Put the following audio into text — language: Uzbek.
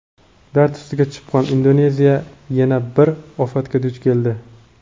Dard ustiga chipqon: Indoneziya yana bir ofatga duch keldi.